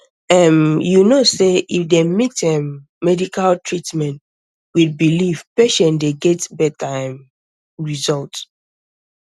erm you know sey if dem mix um medical treatment with belief patient dey get better um result